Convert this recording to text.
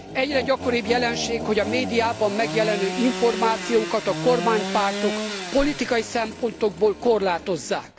Egyre gyakoribb jelenség, hogy a médiában megjelenő információkat a kormánypártok politikai szempontokból korlátozzák.